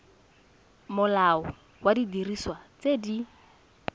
molao wa didiriswa tse di